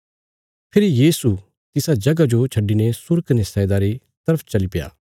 फेरी यीशु तिसा जगह जो छड्डिने सूर कने सैदा रे तरफ चलीप्या